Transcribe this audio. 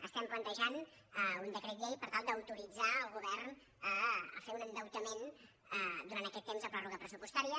estem plantejant un decret llei per tal d’autoritzar el govern a fer un endeutament durant aquest temps de pròrroga pressupostària